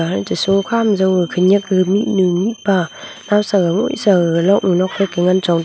sokha ma jong le khenak mihnu mihpa naosa boa jaw luknu nokphai ke ngan chong--